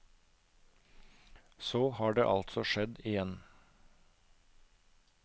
Så har det altså skjedd igjen.